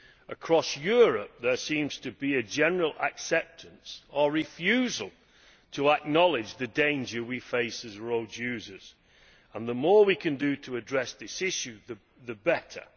Across Europe there seems to be a general acceptance or refusal to acknowledge the danger we face as road users, so the more we can do to address this issue the better.